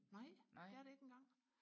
nej det er det ikke engang